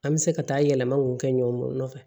An bɛ se ka taa yɛlɛma mun kɛ ɲɔn fɛ